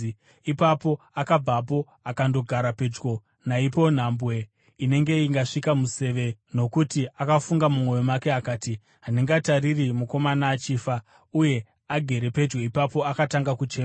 Ipapo akabvapo akandogara pedyo naipapo, nhambwe inenge ingasvika museve, nokuti akafunga mumwoyo make akati, “Handingatariri mukomana achifa.” Uye agere pedyo ipapo akatanga kuchema.